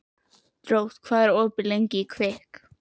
Drótt, hvað er opið lengi í Kvikk?